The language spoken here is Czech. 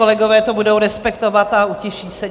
Kolegové to budou respektovat a utiší se.